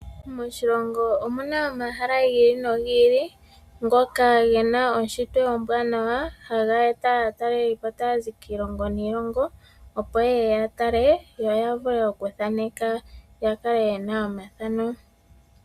Moshilongo omu na omahala gi ili nogi ili ngoka ge na eshito ewanawa haga eta aatalelipo taya zi kiilongo niilongo, opo ye ye ya tale yo ya vule okuthaneka ya kale ye na omathano.